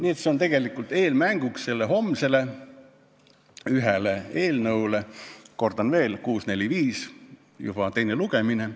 Nii et see on tegelikult eelmäng homsele eelnõu arutelule, kordan veel, see on eelnõu 645 ja toimub juba selle teine lugemine.